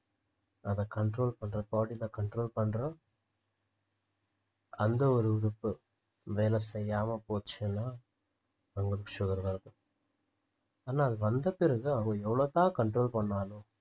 அதை control பண்ற body ல control பண்ற அந்த ஒரு உறுப்பு வேலை செய்யாம போச்சுன்னா அவங்களுக்கு sugar தான் வரும் ஆனா அது வந்த பிறகு அவன் எவளோ தான் control பண்ணாலும்